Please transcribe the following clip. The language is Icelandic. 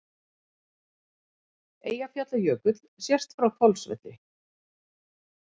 Eyjafjallajökull sést frá Hvolsvelli.